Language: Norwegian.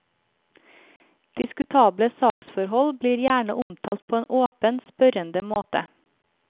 Diskutable saksforhold blir gjerne omtalt på en åpen, spørrende måte.